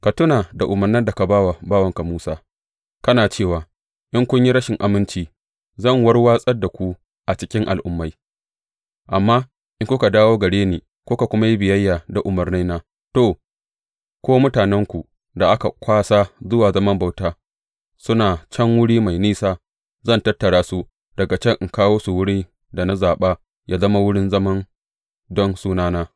Ka tuna da umarnan da ka ba wa bawanka Musa, kana cewa, In kun yi rashin aminci, zan warwatsar da ku a cikin al’ummai, amma in kuka dawo gare ni kuka kuma yi biyayya da umarnaina, to, ko mutanenku da aka kwasa zuwa zaman bauta suna can wuri mafi nisa, zan tattara su daga can in kawo su wurin da na zaɓa yă zama wurin zama don Sunana.’